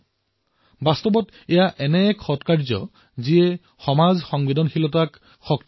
এই বাস্তৱিকতে এনে এক সৎকাৰ্য যি সমাজৰ সংবেদনাসমূহক সশক্ত কৰে